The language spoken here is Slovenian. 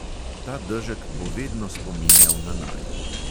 Ta dežek bo vedno spominjal na naju.